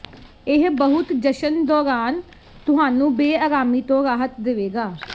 ਇਹ ਬਹੁਤ ਜਸ਼ਨ ਦੌਰਾਨ ਤੁਹਾਨੂੰ ਬੇਅਰਾਮੀ ਤੋਂ ਰਾਹਤ ਦੇਵੇਗਾ